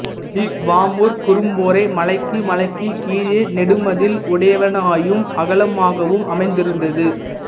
இவ்வாமூர் குறும்பொறை மலைக்கு மலைக்குக் கிழக்கே நெடுமதில் உடையனவாயும் அகலமாகவும் அமைந்திருந்தது